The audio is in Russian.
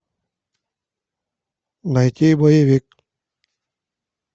найти боевик